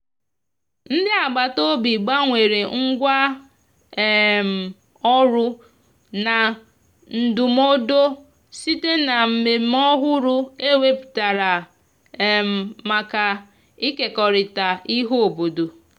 ndi agabata obi gbanwere ngwa um ọrụ na ndumụdo site na mmeme ọhụrụ e weputara um maka ikekọrita ihe obodo